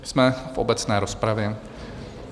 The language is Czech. Jsme v obecné rozpravě.